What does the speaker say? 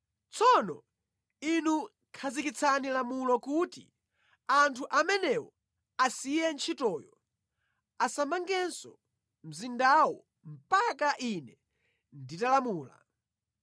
Tsopano inu khazikitsani lamulo kuti anthu amenewo asiye ntchitoyo, asamangenso mzindawo mpaka ine nditalamula